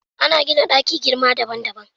Ana gina ɗaki girma daban daban